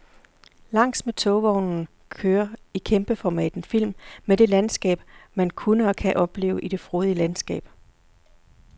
Langs med togvognen kører i kæmpeformat en film med det landskab, man kunne og kan opleve i det frodige landskab.